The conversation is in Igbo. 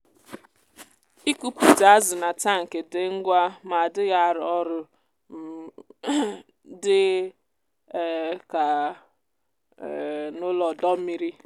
ịkụpute azụ na tankị dị ngwa ma adịghị arọ ọrụ dị um ka um n’ụlọ ọdọ mmiri.